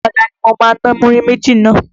Ọ̀la ni mo ma ná múrí méjì náà.